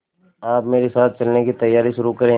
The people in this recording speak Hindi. आप मेरे साथ चलने की तैयारी शुरू करें